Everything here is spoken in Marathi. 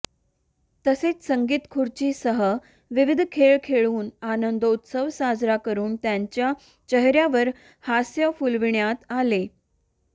तसेच संगीतखुर्चीसह विविध खेळ खेळुन आनंदोत्सव साजरा करून त्यांच्या चेहऱ्यावर हास्य फुलविण्यात आले